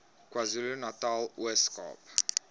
kwazulunatal ooskaap